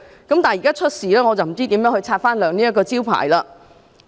但是，現時出現事故，我不知道如何擦亮這個招牌？